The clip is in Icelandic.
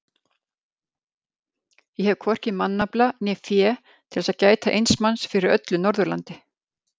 Ég hef hvorki mannafla né fé til þess að gæta eins manns fyrir öllu Norðurlandi.